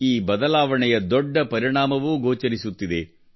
ಈ ಬದಲಾವಣೆಯ ದೊಡ್ಡ ಪರಿಣಾಮವೂ ಗೋಚರಿಸುತ್ತಿದೆ